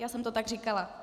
Já jsem to tak říkala.